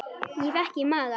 Ég fékk í magann.